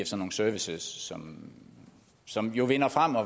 så nogle services som som vinder frem og